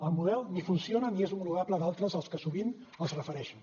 el model ni funciona ni és homologable a d’altres als que sovint es refereixen